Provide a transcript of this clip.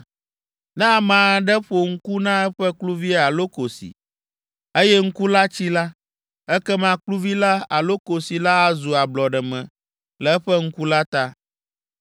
“Ne ame aɖe ƒo ŋku na eƒe kluvi alo kosi, eye ŋku la tsi la, ekema kluvi la alo kosi la azu ablɔɖeme le eƒe ŋku la ta.